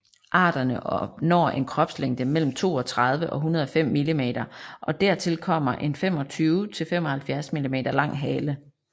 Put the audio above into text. Arterne når en kropslængde mellem 32 og 105 millimeter og dertil kommer en 25 til 75 millimeter lang hale